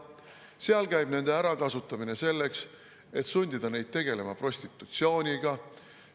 Seal käib nende ärakasutamine selleks, et sundida neid tegelema prostitutsiooniga.